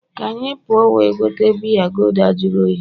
ka anyị puo we gote biya gulder jụrụ oyi